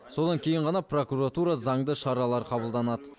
содан кейін ғана прокуратура заңды шаралар қабылданады